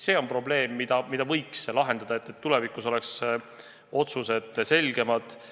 See probleem tuleks lahendada, et tulevikus oleks otsused selgemad.